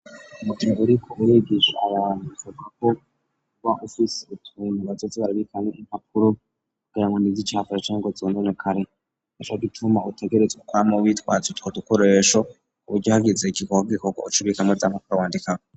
Mugihe uriko urigisha abantu bisabako uba ufise utuntu bazoza barabikamwo impapuro kugirango nticafure, Canke ngo nzononekare, nicogituma utegerezwa kwama witwaje utwo dukoresho, kuburyo hagize igikorwa uc'ubikamwo za mpapuro wandikako.